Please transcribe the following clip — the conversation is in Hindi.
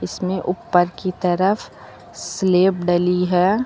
इसमें ऊपर की तरफ स्लेब ढली है।